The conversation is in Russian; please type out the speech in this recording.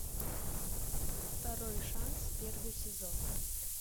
второй шанс первый сезон